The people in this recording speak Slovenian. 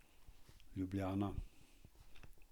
Ljubljana.